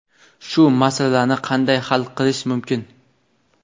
Shu masalani qanday hal qilish mumkin?.